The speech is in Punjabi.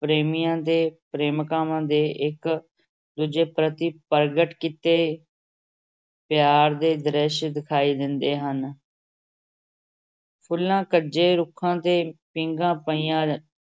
ਪ੍ਰੇਮੀਆਂ ਤੇ ਪ੍ਰੇਮਕਾਵਾਂ ਦੇ ਇਕ ਦੂਜੇ ਪ੍ਰਤੀ ਪ੍ਰਗਟ ਕੀਤੇ ਪਿਆਰ ਦੇ ਦ੍ਰਿਸ਼ ਦਿਖਾਈ ਦਿੰਦੇ ਹਨ ਫੁੱਲਾਂ ਕੱਜੇ ਰੁੱਖਾਂ ਤੇ ਪੀਂਘਾਂ ਪਾਈਆਂ